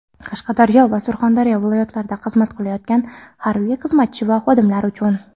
Qashqadaryo va Surxondaryo viloyatlarida xizmat qilayotgan harbiy xizmatchi va xodimlar uchun;.